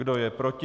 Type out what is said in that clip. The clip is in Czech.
Kdo je proti?